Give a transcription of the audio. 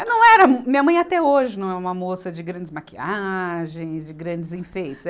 Não era, minha mãe até hoje não é uma moça de grandes maquiagens, de grandes enfeites.